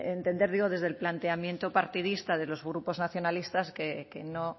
entender digo desde el planteamiento partidista de los grupos nacionalistas que no